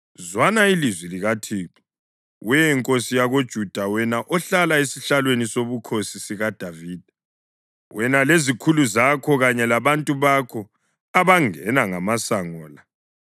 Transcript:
‘Zwana ilizwi likaThixo, we nkosi yakoJuda, wena ohlala esihlalweni sobukhosi sikaDavida, wena lezikhulu zakho kanye labantu bakho abangena ngamasango la.